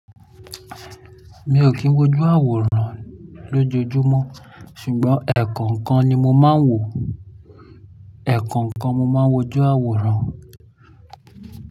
Mi ò kín wójú àwòrán lójojúmọ́ ṣùgbọ́n ẹ̀ẹ̀kọ̀kan ni mo máa ń wò. Ẹ̀ẹ̀kọ̀kan ni mo máa ń wójú àwòrán.